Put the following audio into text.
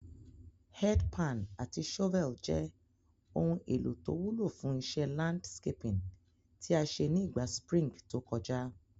Head pan àti shovel je oun èlò to wúlò fún isé landscaping tí a sé ni ìgba spring to kojá